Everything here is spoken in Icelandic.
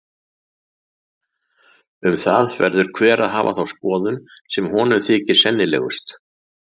Um það verður hver að hafa þá skoðun sem honum þykir sennilegust.